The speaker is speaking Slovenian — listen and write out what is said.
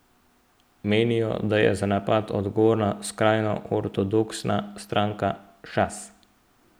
Menijo, da je za napad odgovorna skrajno ortodoksna stranka Šas.